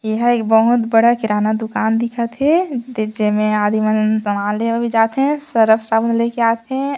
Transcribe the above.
एहा एक बहुत बड़ा किराना दुकान दिखत हे जेमा आदमी मन सामान ले बर जाथे सरव साबुन ले कर आथे।